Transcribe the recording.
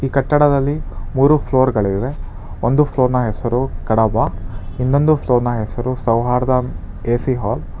ಕಟ್ಟಡದಲ್ಲಿ ಮೂರು ಫ್ಲೋರ್ಗಳಿವೆ ಒಂದು ಫ್ಲೋರ್ನ ಹೆಸರು ಕಡಬ ಇನ್ನೊಂದು ಫ್ಲೋರ್ನ ಹೆಸರು ಸೌಹಾರ್ದ ಕೆ_ಸಿ ಹಾಲ್ .